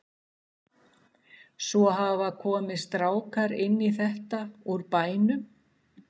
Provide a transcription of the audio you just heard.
Svo hafa komið strákar inn í þetta úr bænum.